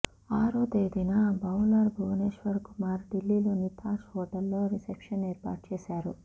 ఆరో తేదీన బౌలర్ భువనేశ్వర్ కుమార్ ఢిల్లీలోని తాజ్ హోటల్లో రిసెప్షన్ ఏర్పాటు చేశాడు